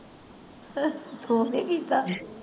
ਤੂੰ ਨਹੀਂ ਕੀਤਾ।